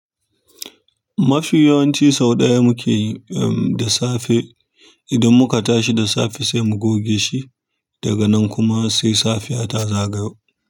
Mafi yawanci sau ɗaya muke yi da safe. Idan muka tashi da safe sai mu goge shi daga nan kuma sai safiya ta zagayo.